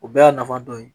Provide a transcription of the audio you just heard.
O bɛɛ y'a nafa dɔ ye